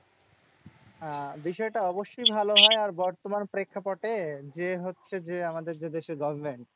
আহ বিষয়টা অবশ্যই ভালো হয়। আর বর্তমানে প্রেক্ষাপটে যে হচ্ছে যে, আমাদের যে দেশের government